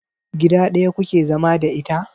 Gida ɗaya kuke zama da ita?